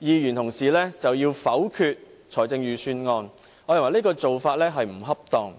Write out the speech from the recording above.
議員否決財政預算案，我認為這種做法並不恰當。